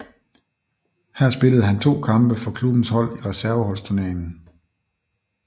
Her spillede han to kampe for klubbens hold i Reserveholdsturneringen